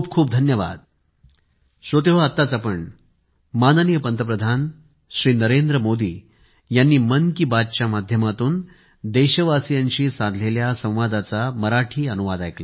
खूप खूप धन्यवाद